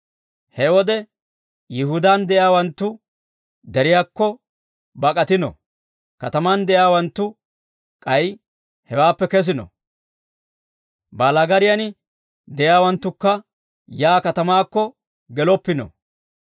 He wode Yihudaan de'iyaawanttu deriyaakko bak'atino; katamaan de'iyaawanttu k'ay hewaappe kesino; baalaagariyan de'iyaawanttukka yaa katamaakko geloppino;